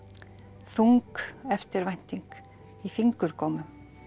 þung eftirvænting í fingurgómum